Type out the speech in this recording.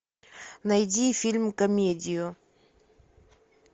найди фильм комедию